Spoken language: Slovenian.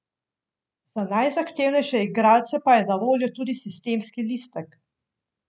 Za najzahtevnejše igralce pa je na voljo tudi sistemski listek.